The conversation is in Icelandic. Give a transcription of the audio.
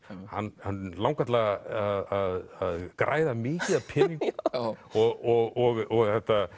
hann langar til að græða mikið af peningum og